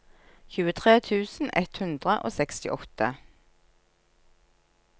tjuetre tusen ett hundre og sekstiåtte